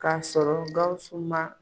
K'a sɔrɔ Gawsu ma